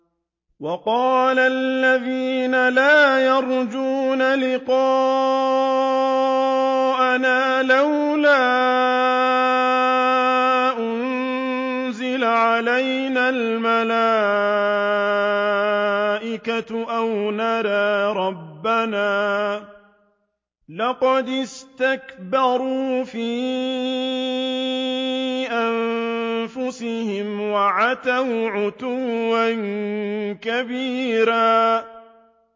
۞ وَقَالَ الَّذِينَ لَا يَرْجُونَ لِقَاءَنَا لَوْلَا أُنزِلَ عَلَيْنَا الْمَلَائِكَةُ أَوْ نَرَىٰ رَبَّنَا ۗ لَقَدِ اسْتَكْبَرُوا فِي أَنفُسِهِمْ وَعَتَوْا عُتُوًّا كَبِيرًا